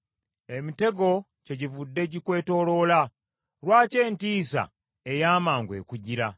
Emitego kyegivudde gikwetooloola. Lwaki entiisa ey’amangu ekujjira?